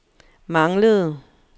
manglede